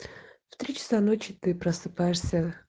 в три часа ночи ты просыпаешься